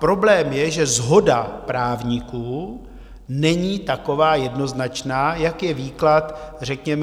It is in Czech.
Problém je, že shoda právníků není taková jednoznačná, jak je výklad řekněme.